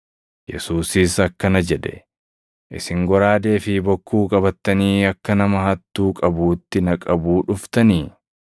Yesuusis akkana jedhe; “Isin goraadee fi bokkuu qabattanii akka nama hattuu qabuutti na qabuu dhuftanii?